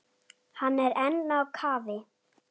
Hann er enn á kafi.